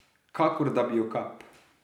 Kakor da bi jo kap.